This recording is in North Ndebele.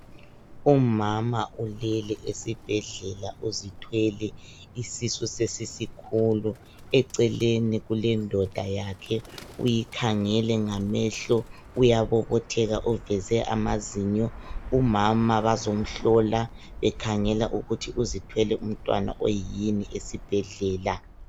Umama ulele esibhedlela uzithwele isisu sesisikhulu, eceleni kulendoda yakhe uyikhangele ngamehlo uyabobotheka uveze amazinyo. Umama bazamhlola bekhangela ukuthi uthwele umntwana oyini esibhedlela.